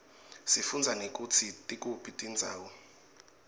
sifundza nekutsi tikuphi tindzawo